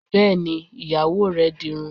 Bẹ́ẹ̀ni, Ìyàwó rẹ dirun